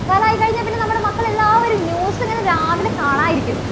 ക്കാലം ആയി കഴിഞ്ഞാൽ പിന്നെ നമ്മുടെ മക്കൾ എല്ലാവരും news എങ്ങനെ രാവിലെ കാണാതിരിക്കും?